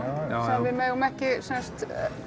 við megum ekki sem sagt